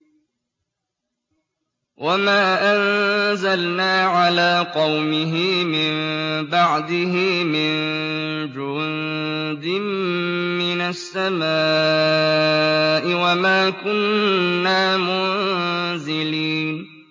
۞ وَمَا أَنزَلْنَا عَلَىٰ قَوْمِهِ مِن بَعْدِهِ مِن جُندٍ مِّنَ السَّمَاءِ وَمَا كُنَّا مُنزِلِينَ